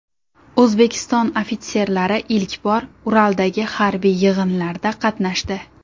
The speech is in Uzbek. O‘zbekiston ofitserlari ilk bor Uraldagi harbiy yig‘inlarda qatnashdi.